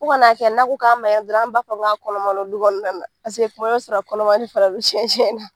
Fɔ kana a kɛ n'a ko k'a dɔrɔn an b'a fɔ k'a kɔnɔma don du kɔnɔna na kuma bɛɛ i b'a sɔrɔ kɔnɔma don cɛncɛn na.